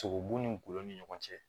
Sogobu ni gulɔ ni ɲɔgɔn cɛ